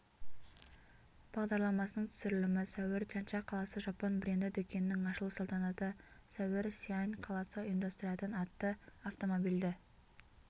бағдарламасының түсірілімі сәуір чанша қаласы жапон бренді дүкенінің ашылу салтанаты сәуір сиань қаласы ұйымдастыратын атты автомобильді